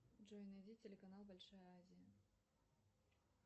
джой найди телеканал большая азия